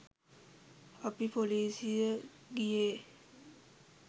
අපි පොලිසි ගියේ